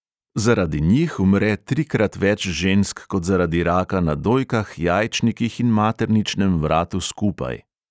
Zaradi njih umre trikrat več žensk kot zaradi raka na dojkah, jajčnikih in materničnem vratu skupaj.